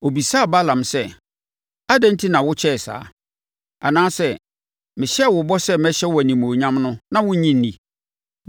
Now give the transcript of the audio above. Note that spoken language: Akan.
Ɔbisaa Balaam sɛ, “Adɛn enti na wokyɛɛ saa? Anaasɛ, mehyɛɛ wo bɔ sɛ mɛhyɛ wo animuonyam no na wonnye nni?”